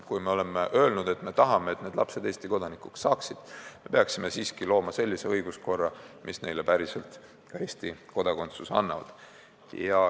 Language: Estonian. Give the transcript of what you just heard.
Kui me oleme öelnud, et me tahame, et need lapsed Eesti kodanikuks saaksid, siis me peaksime siiski looma sellise õiguskorra, mis nendele päriselt ka Eesti kodakondsuse annab.